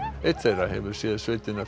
einn þeirra hefur séð sveitina